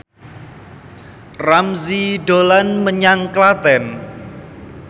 Ramzy dolan menyang Klaten